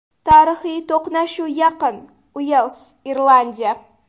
Tarixiy to‘qnashuv yaqin: Uels Irlandiya.